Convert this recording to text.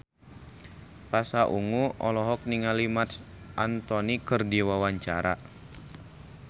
Pasha Ungu olohok ningali Marc Anthony keur diwawancara